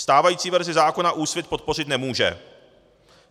Stávající verzi zákona Úsvit podpořit nemůže.